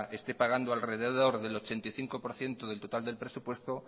esté pagando alrededor del ochenta y cinco por ciento del total del presupuesto